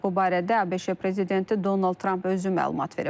Bu barədə ABŞ prezidenti Donald Tramp özü məlumat verib.